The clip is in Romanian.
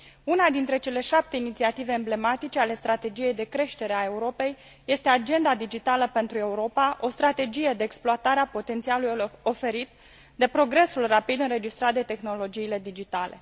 Una dintre cele șapte inițiative emblematice ale strategiei de creștere a Europei este agenda digitală pentru Europa, o strategie de exploatare a potențialului oferit de progresul rapid înregistrat de tehnologiile digitale.